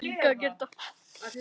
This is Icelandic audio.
Alltaf svo hlý og góð.